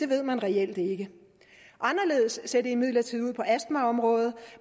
ved man reelt ikke anderledes ser det imidlertid ud på astmaområdet